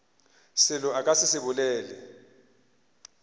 selo a ka se bolele